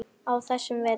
á þessum vetri.